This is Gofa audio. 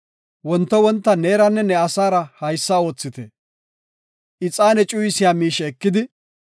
Wonto wonta neeranne ne asaara haysa oothite; ixaane cuyisiya miishe ekidi,